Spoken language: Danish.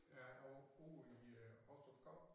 Ja over ude i Hostrupskov